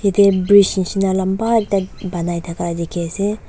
Eteh bridge neshina lamba ekta banai thaka dekhe ase.